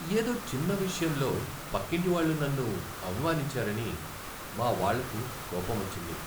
ఏదో చిన్న విషయంలో పక్కింటి వాళ్ళు నన్ను అవమానించారని మా వాళ్ళకు కోపమొచ్చింది.